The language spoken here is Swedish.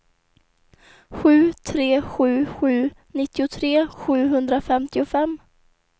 sju tre sju sju nittiotre sjuhundrafemtiofem